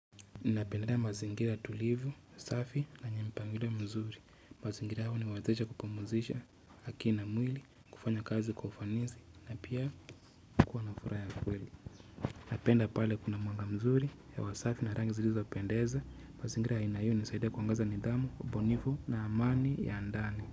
Napenda mazingira tulivu, safi na yenye mpangilio mzuri, mazingira hawa yani wezesha kupumzisha haki na mwili, kufanya kazi kwa aufanizi na pia kuwa na furaha ya ukweli. Napenda pale kuna mwanga mzuri hewa safi na rangi zilizo pendeza, mazingira ya aina hiyo husaidia kwa kuongaza nidhamu, ubinifu na amani ya ndani.